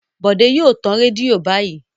Bòdé yóò tan rédíò báyìí.